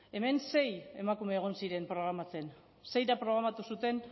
hemen sei emakume egon ziren programatzen seirak programatu zuten